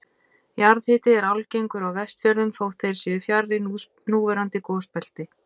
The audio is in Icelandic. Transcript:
Jarðhiti er algengur á Vestfjörðum þótt þeir séu fjarri núverandi gosbelti.